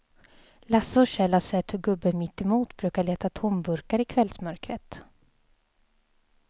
Lasse och Kjell har sett hur gubben mittemot brukar leta tomburkar i kvällsmörkret.